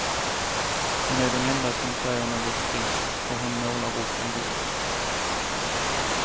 Hon är den enda som säger något friskt och hon målar upp en bild.